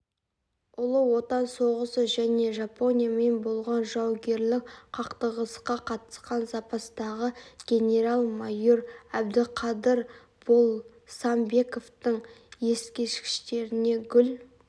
ұлы отан соғысы және жапониямен болған жауынгерлік қақтығысқа қатысқан запастағы генерал-майор әбдіқадыр болсамбековтың ескерткіштеріне гүл